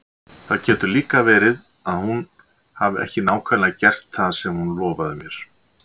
Það getur líka verið að hún hafi ekki nákvæmlega gert það sem hún lofaði mér.